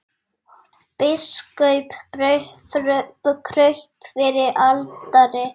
Biskup kraup fyrir altari.